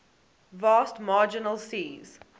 vast marginal seas